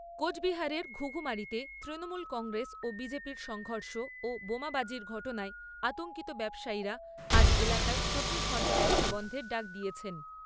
কোচবিহারের ঘুঘুমারিতে তৃণমূল কংগ্রেস ও বিজেপি'র সংঘর্ষ ও বোমাবাজির ঘটনায় আতঙ্কিত ব্যবসায়ীরা আজ এলাকায় চব্বিশ ঘন্টা ব্যবসা বন্ধের ডাক দিয়েছেন।